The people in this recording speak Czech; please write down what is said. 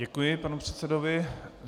Děkuji panu předsedovi.